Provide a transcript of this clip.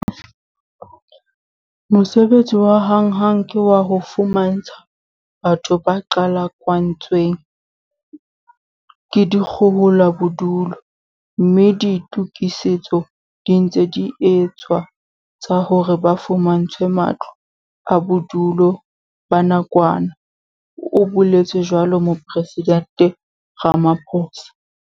"Mosebetsi wa hanghang ke wa ho fumantsha batho ba qhalakantswe ng ke dikgohola bodulo, mme ditokisetso di ntse di etswa tsa hore ba fumantshwe matlo a bodulo ba nakwana", o boletse jwalo Mopresidente Ramaphosa.